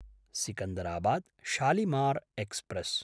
सिकन्दराबाद्–शालिमार् express